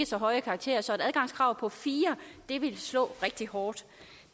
så høje karakterer så et adgangskrav på fire vil slå rigtig hårdt